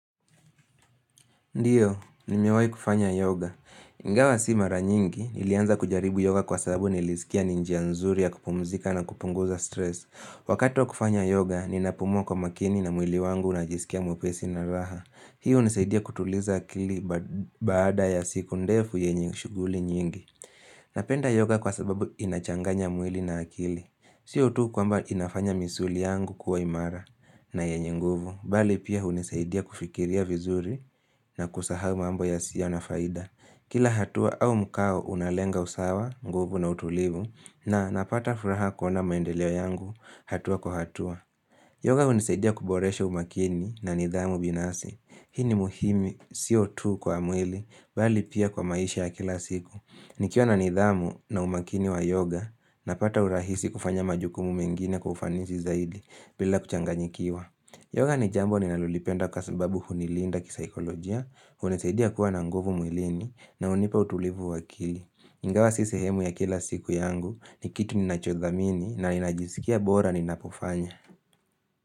Ndiyo, nimewai kufanya yoga. Ingawa si mara nyingi, nilianza kujaribu yoga kwa sababu nilisikia ni njia nzuri ya kupumzika na kupunguza stress. Wakati wa kufanya yoga, ninapumua kwa makini na mwili wangu unajisikia mwepesi na raha. Hi hunisaidia kutuliza akili baada ya siku ndefu yenye shuguli nyingi. Napenda yoga kwa sababu inachanganya mwili na akili. Siyo tu kwamba inafanya misuli yangu kuwa imara na yenye nguvu. Bali pia hunisaidia kufikiria vizuri na kusahau mambo yasiyo na faida. Kila hatua au mkao unalenga usawa, nguvu na utulivu na napata furaha kuona maendelea yangu hatua kwa hatua. Yoga hunisaidia kuboresha umakini na nidhamu binafsi. Hi ni muhimu, sio tu kwa mwili, bali pia kwa maisha ya kila siku. Nikiwa na nidhamu na umakini wa yoga, napata urahisi kufanya majukumu mengine kwa kufanisi zaidi bila kuchanganyikiwa. Yoga ni jambo ninalolipenda kwa sababu hunilinda kisaikolojia, hunisaidia kuwa na nguvu mwilini na hunipa utulivu wa akili. Ingawa si sehemu ya kila siku yangu ni kitu ninachodhamini na ninajisikia bora ninapofanya.